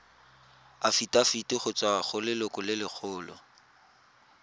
afitafiti go tswa go lelokolegolo